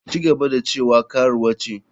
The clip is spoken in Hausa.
Ci gaba da cewa karuwa ce.